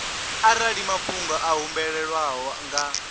arali mafhungo a humbelwaho nga